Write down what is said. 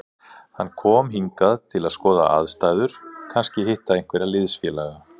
Hann kom hingað til að skoða aðstæður, kannski hitta einhverja liðsfélaga.